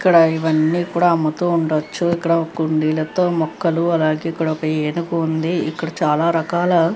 ఇక్కడ ఇవ్వని కూడా అమ్ముతూ ఉందోచ్చు ఇక్కడ కుండీలతో మొక్కలు అలాగే ఇక్కొదాకా ఏనుగు ఉంది ఇక్కడ చాల రకాల --